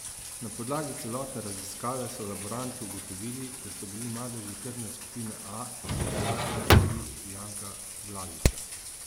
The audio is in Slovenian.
Na podlagi celotne raziskave so laboranti ugotovili, da so bili madeži krvne skupine A in da je bila to kri Janka Blažiča.